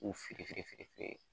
K'u fili fili fili fili